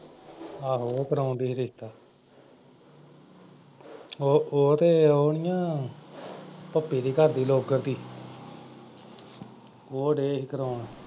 ਆਹੋ ਉਹ ਕਰਾਉਣ ਡਈ ਸੀ ਰਿਸ਼ਤਾ ਉਹ ਉਹ ਤੇ ਉਹ ਨਈਂ ਆ ਭੱਪੀ ਦੇ ਘਰਦੀ ਲੌਕਰ ਤੀ ਉਹ ਡੈ ਸੀ ਕਰਾਉਣ।